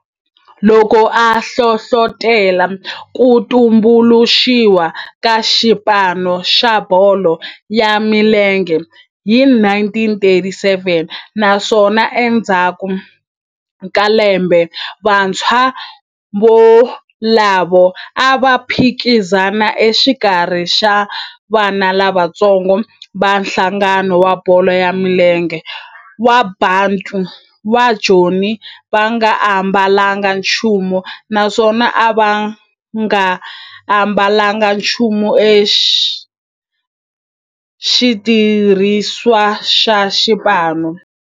loko a hlohlotela ku tumbuluxiwa ka xipano xa bolo ya milenge hi 1937 naswona endzhaku ka lembe vantshwa volavo a va phikizana exikarhi ka vana lavatsongo va nhlangano wa bolo ya milenge wa Bantu wa Joni va nga ambalanga nchumu naswona va nga ambalanga nchumu xitirhisiwa xa xipano.